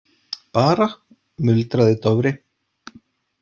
Bara, muldraði Dofri.